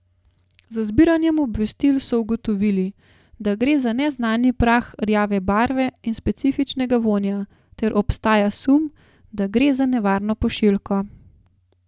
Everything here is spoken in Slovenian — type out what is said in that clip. Z zbiranjem obvestil so ugotovili, da gre za neznani prah rjave barve in specifičnega vonja ter obstaja sum, da gre za nevarno pošiljko.